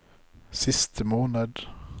siste måned